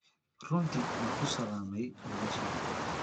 Runtii ma ku salaamay walaashey?